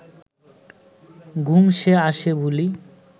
ঘুম যে আসে ভূলি